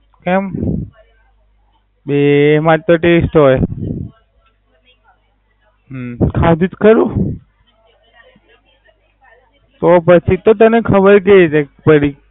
કેમ? એ એ એમાં તો ડીશ હોય હમ્મ કખાધી તો ખરું. તો પછી તો તને ખબર કેવી રીતે પડી? એમ